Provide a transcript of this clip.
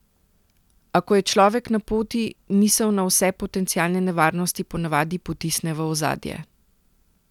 A ko je človek na poti, misel na vse potencialne nevarnosti ponavadi potisne v ozadje.